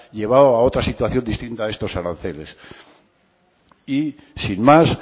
llevado a otra situación distinta de estos aranceles y sin más